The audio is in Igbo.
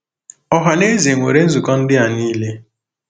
Ọha na eze nwere nzukọ ndị a niile.